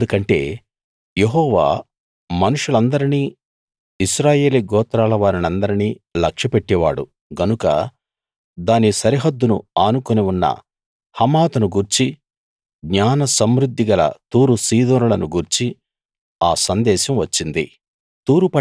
ఎందుకంటే యెహోవా మనుషులందరినీ ఇశ్రాయేలీ గోత్రాల వారినందరినీ లక్ష్యపెట్టేవాడు గనుక దాని సరిహద్దును ఆనుకుని ఉన్న హమాతును గూర్చి జ్ఞాన సమృద్ధి గల తూరు సీదోనులను గూర్చి ఆ సందేశం వచ్చింది